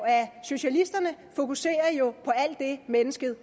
at socialisterne fokuserer på alt det mennesket